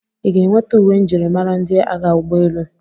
Ị ga-enweta uwe njirimara ndị agha ụgbọelu?